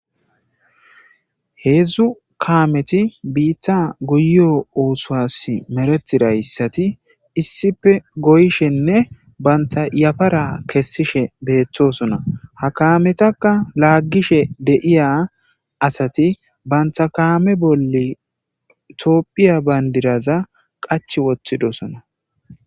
Heedzdzu kaameti biitta guyo ooswas meretirayssati issife goyshenne banta iyafara kessishe beettosona ha kaametakka laaggishe deiya asati banta kaame bolle toopphiya bayndiraza qach wottidosona.